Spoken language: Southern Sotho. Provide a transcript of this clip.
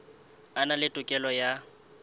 a na le tokelo ya